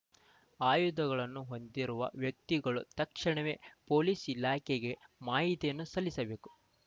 ಆಯುಧಗಳನ್ನು ಹೊಂದಿರುವ ವ್ಯಕ್ತಿಗಳು ತಕ್ಷಣವೇ ಪೊಲೀಸ್ ಇಲಾಖೆಗೆ ಮಾಹಿತಿಯನ್ನು ಸಲ್ಲಿಸಬೇಕು